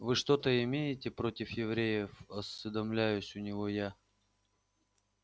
вы что-то имеете против евреев осведомляюсь у него я